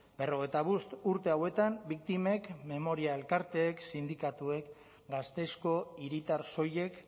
berrogeita bost urte hauetan biktimek memoria elkarteek sindikatuek gasteizko hiritar soilek